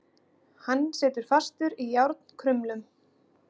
Hann situr fastur í járnkrumlum.